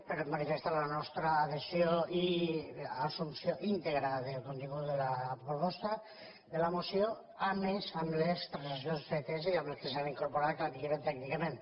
per manifestar la nostra adhesió i assumpció íntegra del contingut de la proposta de la moció a més amb les transaccions fetes i amb les que s’han incorporat que la milloren tècnicament